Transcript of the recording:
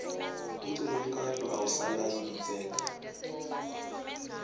umculo wekaito awusaniabitseki